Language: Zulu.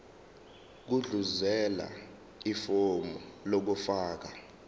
gudluzela ifomu lokufaka